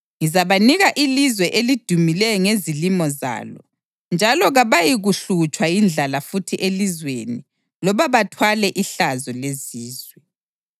Ngizabanika ilizwe elidumileyo ngezilimo zalo, njalo kabayikuhlutshwa yindlala futhi elizweni loba bathwale ihlazo lezizwe.